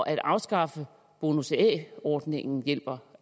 at afskaffe bonus a ordningen hjælper